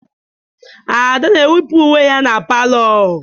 Ada na-ewipụ uwe ya na palọ.